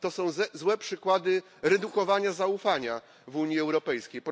To są złe przykłady redukowania zaufania w Unii Europejskiej.